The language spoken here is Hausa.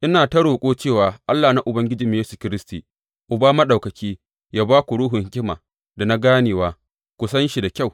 Ina ta roƙo cewa Allah na Ubangijinmu Yesu Kiristi, Uba Maɗaukaki, yă ba ku Ruhun hikima da na ganewa, domin ku san shi da kyau.